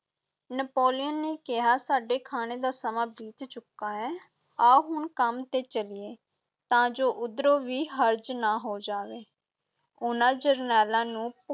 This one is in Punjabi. ਨੈਪੋਲੀਅਨ ਨੇ ਕਿਹਾ, ਸਾਡੇ ਖਾਣੇ ਦਾ ਸਮਾਂ ਬੀਤ ਚੁੱਕਾ ਹੈ, ਆਓ ਹੁਣ ਕੰਮ ਤੇ ਚੱਲੀਏ, ਤਾਂ ਜੋ ਉੱਧਰੋਂ ਵੀ ਹਰਜ ਨਾ ਹੋ ਜਾਵੇ, ਉਨ੍ਹਾਂ ਜਰਨੈਲਾਂ ਨੂੰ